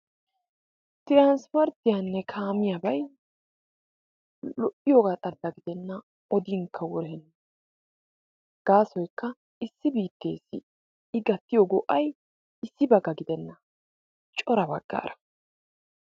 Tiraanispporttiyanne kaamiyabayi lo"iyoogaa xalla gidenna odiinikka wurenna gaasoykka issi biitteessi i gattiyo go"ay issibakka gidenna cora baggaara.